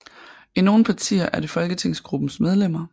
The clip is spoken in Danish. I nogle partier er det folketingsgruppens medlemmer